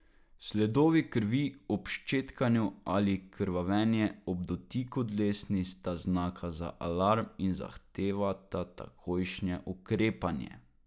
Sledovi krvi ob ščetkanju ali krvavenje ob dotiku dlesni sta znaka za alarm in zahtevata takojšnje ukrepanje.